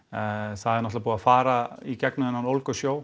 það er náttúrulega búið að fara í gegnum þennan ólgusjó